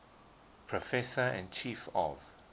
professor and chief of